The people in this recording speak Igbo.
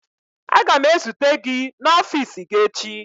Aga m ezute gị n'ọfiisi gị echi.